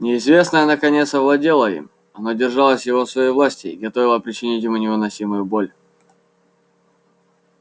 неизвестное наконец овладело им оно держало его в своей власти и готовилось причинить ему невыносимую боль